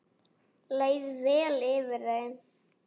Leið vel yfir þeim.